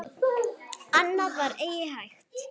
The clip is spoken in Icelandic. Annað var eigi hægt.